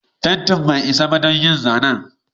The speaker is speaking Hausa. Fentin bai isa ba don yin zanen.